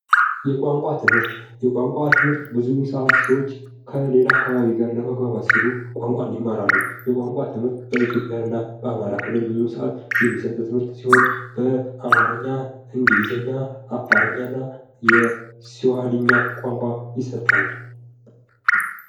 የቋንቋ ትምህርት:- የቋንቋ ትምህርት ብዙ ሰዓት ሰዎች ከሌላ አካባቢ ጋር ለመግባባት ሲሉ ቋንቋን ይማራሉ። የቋንቋ ትምህርት በኢትዮጵያ በአማራ ክልል ብዙ ሰዓት የሚሰጥ ትምህርት ሲሆን በአማረኛ፣ እንግሊዘኛ፣ አፋረኛ እና የሰዋኽሊኛ ቋንቋ ይሰጣል።